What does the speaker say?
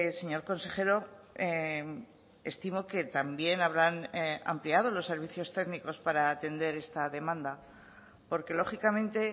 señor consejero estimo que también habrán ampliado los servicios técnicos para atender esta demanda porque lógicamente